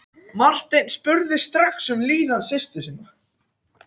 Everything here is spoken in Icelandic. Marteinn spurði strax um líðan systur sinnar.